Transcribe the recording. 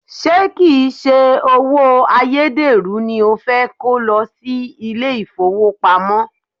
Ṣé kìí se owó ayédèrú ni o fẹ́ kó lọ sí ilé ìfowópamọ́?